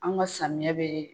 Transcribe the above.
Anw ka samiya bɛ.